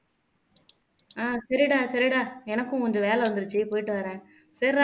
ஆஹ் சரிடா சரிடா எனக்கும் கொஞ்சம் வேலை வந்துருச்சு போயிட்டு வர்றேன்